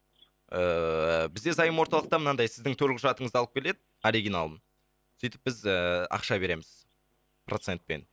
ііі бізде заем орталықта мынандай сіздің төлқұжатыңызды алып келеді оригиналын сөйтіп біз ііі ақша береміз процентпен